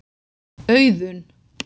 Auðun